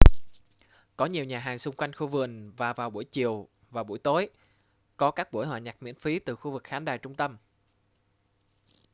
có nhiều nhà hàng xung quanh khu vườn và vào buổi chiều và buổi tối có các buổi hòa nhạc miễn phí từ khu vực khán đài trung tâm